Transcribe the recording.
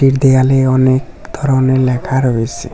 দেয়ালে অনেক ধরনের লেখা রয়েসে।